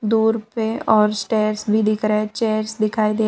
दूर पे और स्टेयर्स भी दिख रहे है चेयर्स दिखाई दे रहा--